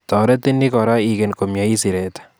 Toretin ni kora iken komyeit siret